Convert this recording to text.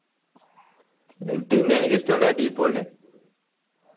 പിന്നെ എനിക്ക് ഇഷ്ടമുള്ളത് ഡി പോളിനെ